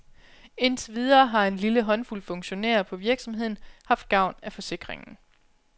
Indtil videre har en lille håndfuld funktionærer på virksomheden haft gavn af forsikringen.